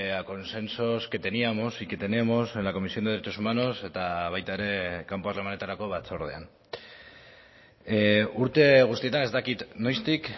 a consensos que teníamos y que tenemos en la comisión de derechos humanos eta baita ere kanpo harremanetarako batzordean urte guztietan ez dakit noiztik